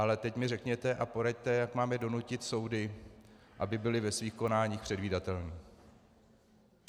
Ale teď mi řekněte a poraďte, jak máme donutit soudy, aby byly ve svých konáních předvídatelné.